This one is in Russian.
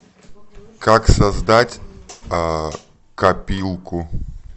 как создать копилку